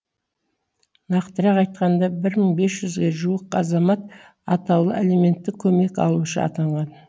нақтырақ айтқанда бір мың бес жүзге жуық азамат атаулы әлеуметтік көмек алушы атанған